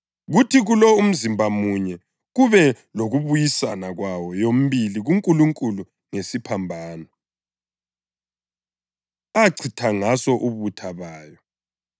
kuthi kulo umzimba munye kube lokubuyisana kwayo yomibili kuNkulunkulu ngesiphambano, achitha ngaso ubutha bayo.